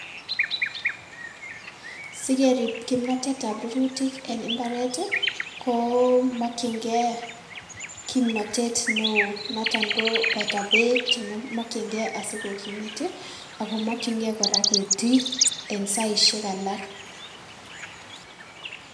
Sikerib kimnotetab rurutik en mbaret ii ko komokyingei kimnotet neo noton koboto beek chenyo chemokyingei asikokimit ii ako komokyingei ketii en saisiek alak.